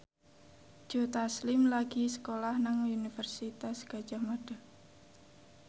Joe Taslim lagi sekolah nang Universitas Gadjah Mada